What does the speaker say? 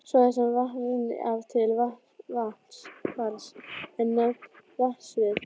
Svæði sem vatn rennur af til vatnsfalls er nefnt vatnasvið.